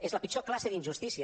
és la pitjor classe d’injustícia